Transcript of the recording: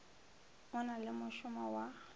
o na le mošomo wa